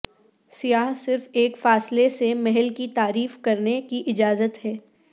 سیاح صرف ایک فاصلے سے محل کی تعریف کرنے کی اجازت ہے